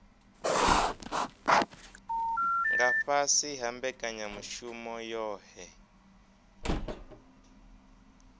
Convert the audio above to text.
nga fhasi ha mbekanyamushumo yohe